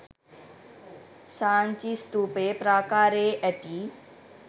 සාංචි ස්ථූපයේ ප්‍රාකාරයේ ඇති